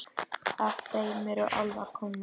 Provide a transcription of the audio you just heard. Af þeim eru álfar komnir.